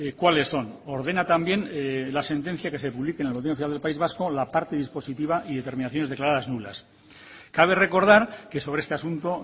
cuáles son ordena también la sentencia que se publique en el boletín oficial del país vasco la parte dispositiva y determinaciones declaradas nulas cabe recordar que sobre este asunto